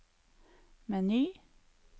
meny